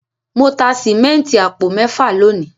Mo ta sìmẹ́ǹtì àpò mẹ́fà lónìí.